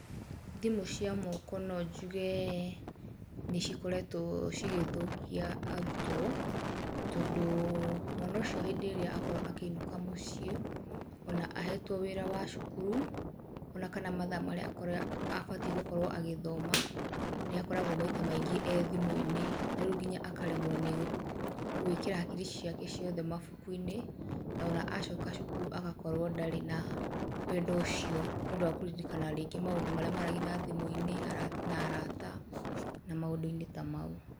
Thimũ cĩa moko no njuge nĩ cikoretwo cigĩthokia arutwo, tondũ mwana ũcio hĩndĩ ĩrĩa akorwo akĩinũka mũciĩ, ona ahetwo wĩra wa cukuru, ona kana mathaa marĩa akorĩa abatie gũkorwo agĩthoma, nĩ akoragwo maita maingĩ e thimũ-inĩ, na rĩu nginya akaremwo nĩ gũĩkĩra hakiri ciake ciothe mabuku-inĩ, nona acoka cukuru agakorwo ndarĩ na wendo ũcio, nĩ ũndũ wa kũririkana maũndũ marĩa maragia na thimũ -inĩ ara na arata na maũndũ -inĩ tamau.